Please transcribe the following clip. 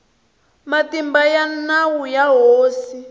matimba ya nawu ya hosi